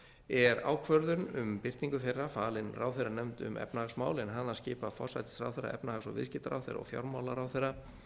er ákvörðun um birtingu þeirra falin ráðherranefnd um efnahagsmál en hana skipa forsætisráðherra efnahags og viðskiptaráðherra og fjármálaráðherra